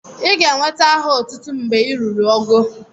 Ị ga enweta aha otútú mgbè ị rụrụ ógó